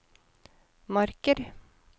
Marker